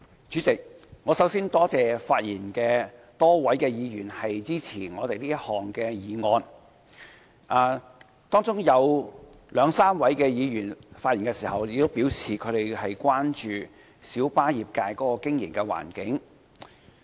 主席，我首先多謝發言的多位議員支持政府這項議案。當中有兩三位議員在發言時表示，他們關注到小巴業界的經營環境。